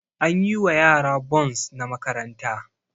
An yi wa yara bons na makaranta